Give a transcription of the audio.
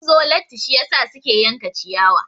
Sun zo latti shiyasa suke yanka ciyawa.